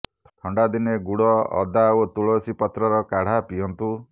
ଥଣ୍ଡା ଦିନେ ଗୁଡ ଅଦା ଓ ତୁଳସୀ ପତ୍ରର କାଢା ପିଅନ୍ତୁ